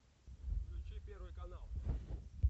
включи первый канал